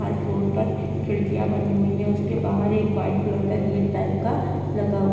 हर floor पर खिड़कियां बनी हुई हैं उसके बाहर एक व्हाइट कलर का गेट टाइप का लगा हुआ है।